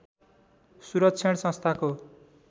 सुरक्षण संस्थाको